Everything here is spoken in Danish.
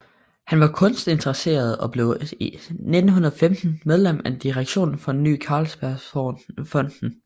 Han var kunstinteresseret og blev 1915 medlem af direktionen for Ny Carlsbergfondet